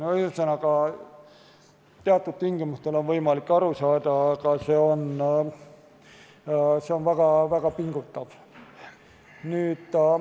Ühesõnaga, teatud tingimustel on võimalik aru saada, aga see on väga pingutav.